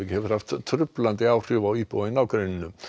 hefur haft truflandi áhrif á íbúa í nágrenninu